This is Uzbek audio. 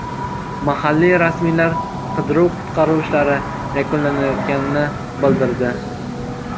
Mahalliy rasmiylar qidiruv-qutqaruv ishlari yakunlanayotganini bildirdi.